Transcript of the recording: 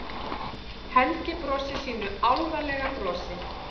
Helgi brosir sínu álfalega brosi.